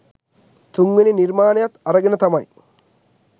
තුන් වෙනි නිර්මාණයත් අරගෙන තමයි